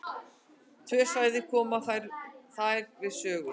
Tvö svæði koma þar við sögu.